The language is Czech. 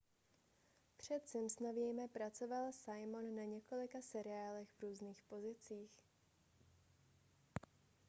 před simpsonovými pracoval simon na několika seriálech v různých pozicích